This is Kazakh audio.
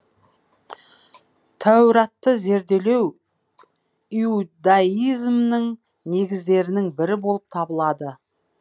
тәуратты зерделеу иудаизмнің негіздерінің бірі болып табылады